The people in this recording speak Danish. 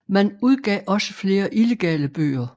Man udgav også flere illegale bøger